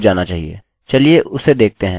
चलिए उसे देखते हैं